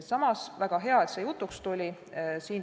Samas, väga hea, et see jutuks tuli.